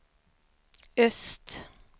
öst